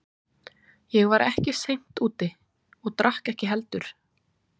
Ég var ekki seint úti og drakk ekki heldur.